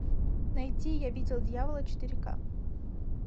найти я видел дьявола четыре ка